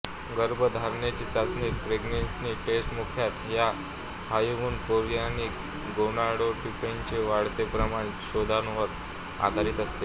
गर्भधारणेची चाचणी pregnancy test मुख्यतः ह्या ह्यूमन कोरियॉनिक गोनाडोट्रॉपिनचे वाढते प्रमाण शोधण्यावर आधारित असते